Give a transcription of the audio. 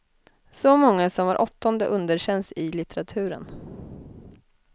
Så många som var åttonde underkänns i litteraturen.